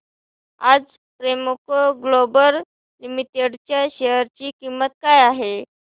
आज Premco global limited च्या share ची किंमत काय आहे